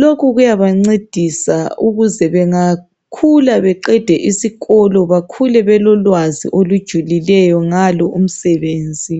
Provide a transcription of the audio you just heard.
Lokhu kuyabancedisa ukuze bengakhula beqede esikolo bakhule belolwazi olujulileyo ngalo umsebenzi.